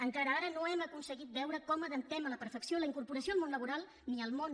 encara ara no hem aconseguit veure com adaptem a la perfecció la incorporació al món laboral ni al món